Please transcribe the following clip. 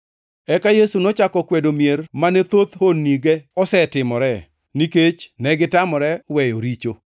Eka Yesu nochako kwedo mier mane thoth honnige osetimoree, nikech negitamore weyo richo.